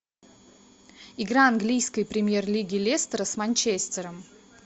игра английской премьер лиги лестер с манчестером